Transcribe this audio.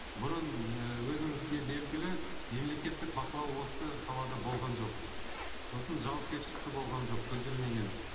бұрын ііі өзіңізге белгілі мемлекеттік бақылау осы салада болған жоқ сосын жауапкершілік те болған жоқ көзделмеген